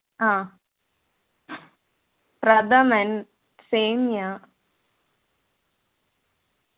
ആഹ് pradhaman സേമിയ